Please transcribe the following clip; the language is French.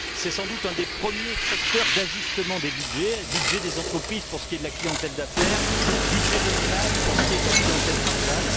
C'est sans doute un des premiers secteurs d'ajustement des budgets, budget des entreprises pour ce qui est de la clientèle d'affaires, budget des ménages pour ce qui est de la clientèle estivale.